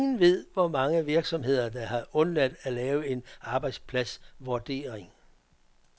Ingen ved, hvor mange virksomheder der har undladt at lave en arbejdspladsvurdering.